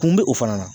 Kun bɛ o fana na